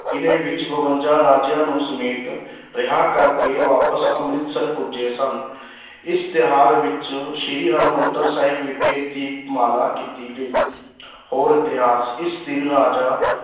ਕਿਲ੍ਹੇ ਵਿੱਚ ਬਵੰਜਾ ਰਾਜਿਆਂ ਨੂੰ ਸਮੇਤ ਰਿਹਾਅ ਕਰਕੇ ਵਾਪਸ ਅੰਮ੍ਰਿਤਸਰ ਪੁੱਜੇ ਸਨ ਇਸ ਤਿਉਹਾਰ ਵਿੱਚ ਸ੍ਰੀ ਹਰਿਮੰਦਰ ਸਾਹਿਬ ਵਿਖੇ ਦੀਪਮਾਲਾ ਕੀਤੀ ਗਈ ਹੋਰ ਇਤਿਹਾਸ, ਇਸ ਦਿਨ ਰਾਜਾ